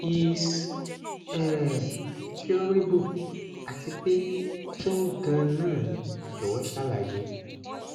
is é curable àti pé kín ganan ni jọwọ ṣàlàyé